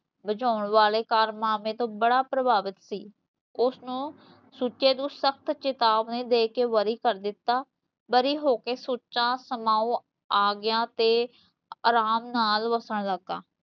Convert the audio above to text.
ਬਚਾਉਣ ਵਾਲੇ ਕਾਰਨਾਮੇ ਤੋਂ ਬੜਾ ਪ੍ਰਭਾਵਿਤ ਸੀ ਓਸਨੂੰ ਸੁੱਚੇ ਨੂੰ ਸ਼ਖਤ ਚੇਤਾਵਨੀ ਦੇ ਕੇ ਬਰੀ ਕਰ ਦਿੱਤਾ ਬਰੀ ਹੋ ਕੇ ਸੁੱਚਾ ਸਮਾਓ ਆ ਗਿਆ ਤੇ ਅਰਾਮ ਨਾਲ਼ ਵਸਣ ਲੱਗਾ